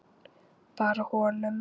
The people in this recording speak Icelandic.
Bara honum.